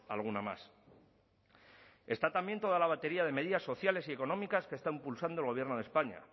alguna más está también toda la batería de medidas sociales y económicas que está impulsando el gobierno de españa